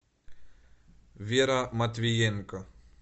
вера матвиенко